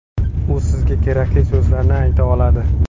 U sizga kerakli so‘zlarni ayta oladi.